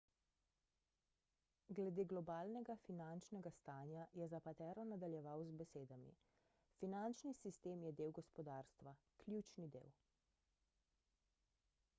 glede globalnega finančnega stanja je zapatero nadaljeval z besedami finančni sistem je del gospodarstva ključni del